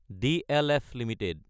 DLF Ltd